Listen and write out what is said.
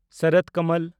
ᱥᱚᱨᱚᱛ ᱠᱚᱢᱚᱞ